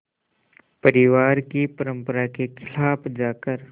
परिवार की परंपरा के ख़िलाफ़ जाकर